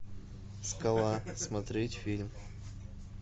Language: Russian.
скала смотреть фильм